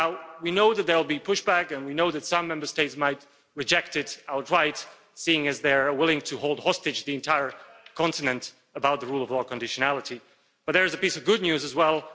We know that there will be pushback and we know that some Member States might reject it outright, seeing as they are willing to hold the entire continent hostage to rule of law conditionality, but there is a piece of good news as well.